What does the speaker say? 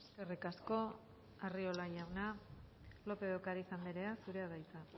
eskerrik asko arriola jauna lópez de ocariz andrea zurea da hitza